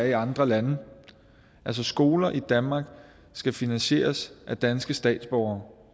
i andre lande altså skoler i danmark skal finansieres af danske statsborgere